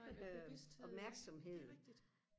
nej bevidsthed det rigtigt